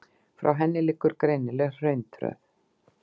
Frá henni liggur greinileg hrauntröð.